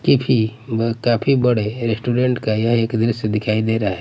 किफी म काफी बड़े रेस्टोरेंट का यह एक द्रश्य दिखाई दे रहा हैं।